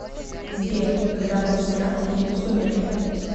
сбер когда был снят фильм сумерки